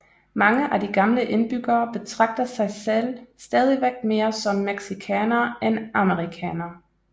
Mange af de gamle indbyggere betragter sig selv stadigvæk mere som mexicanere end amerikanere